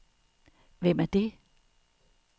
Hvem er det